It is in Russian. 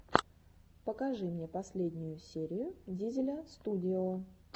покажи мне последнюю серию дизеля студио